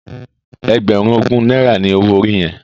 Ègbèrún ógún nàirá ni ôwó óri yèn?